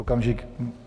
Okamžik.